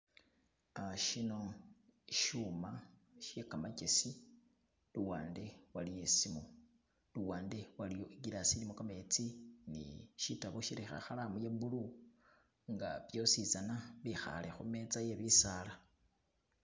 Uh Shino shuma shegamagyesi luwande waliyo isimu luwande waliyo i'glass ilimo gametsi ni shitabo shilikho ikhalamu iye blue nga byositsana byekhale khumetsa iye bisaala